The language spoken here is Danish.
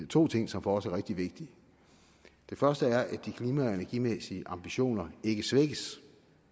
to ting som for os er rigtig vigtige den første er at de klima og energimæssige ambitioner ikke svækkes